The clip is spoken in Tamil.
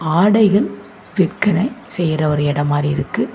ஆடைகள் விற்கற செய்யுற ஒரு இடம் மாறி இருக்கு.